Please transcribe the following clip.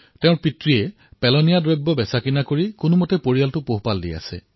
তেওঁৰ পিতৃয়ে পেলনীয়া সামগ্ৰী সংগ্ৰহ কৰি নিজৰ পৰিয়াল পোহপাল দিয়ে